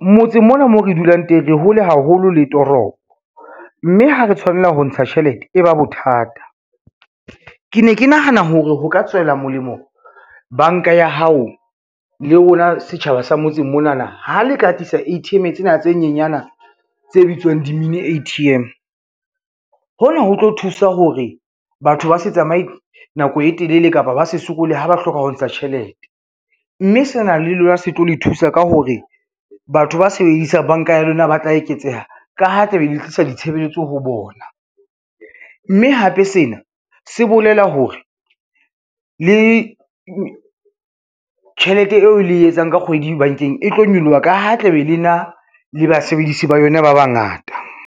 Motseng mona mo re dulang teng re hole haholo le toropo, mme ha re tshwanela ho ntsha tjhelete e ba bothata. Ke ne ke nahana hore ho ka tswela molemo banka ya hao le rona setjhaba sa motseng monana ha le ka tlisa A_T_M tsena tse nyenyana tse bitswang di-min A_T_M. Hona ho tlo thusa hore batho ba se tsamaye nako e telele kapa ba se sokole ha ba hloka ho ntsha tjhelete, mme se na le lona se tlo le thusa ka hore batho ba sebedisang banka ya lona ba tla eketseha ka ha tla be le tlisa ditshebeletso ho bona, mme hape sena se bolela hore le tjhelete eo le e etsang ka kgwedi bankeng e tlo nyoloha ka ha tla be le na le basebedisi ba yona ba bangata.